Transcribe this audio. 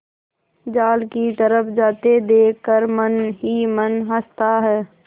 जाल की तरफ जाते देख कर मन ही मन हँसता है